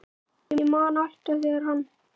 Ég man alltaf þegar hann